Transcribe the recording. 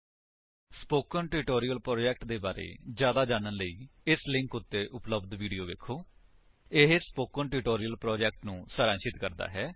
spoken tutorial project ਦੇ ਬਾਰੇ ਵਿੱਚ ਜਿਆਦਾ ਜਾਣਨ ਲਈ ਇਸ ਲਿੰਕ ਉੱਤੇ ਉਪਲੱਬਧ ਵੀਡੀਓ ਵੇਖੋ http spoken tutorial org What is a Spoken Tutorial ਇਹ ਸਪੋਕਨ ਟਿਊਟੋਰਿਅਲ ਪ੍ਰੋਜੇਕਟ ਨੂੰ ਸਾਰਾਂਸ਼ਿਤ ਕਰਦਾ ਹੈ